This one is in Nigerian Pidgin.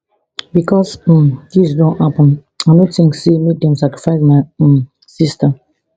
becos um dis don happun i no tink say make dem sacrifice my um sista